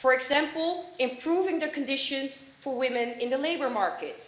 For example, improving the conditions for women in the labour market.